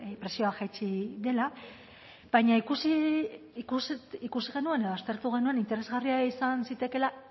prezioa jaitsi dela baina ikusi genuen edo aztertu genuen interesgarria izan zitekeela